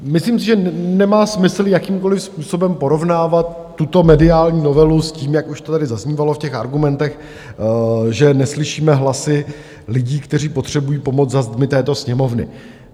Myslím si, že nemá smysl jakýmkoliv způsobem porovnávat tuto mediální novelu s tím, jak už to tady zaznívalo v těch argumentech, že neslyšíme hlasy lidí, kteří potřebují pomoc, za zdmi této Sněmovny.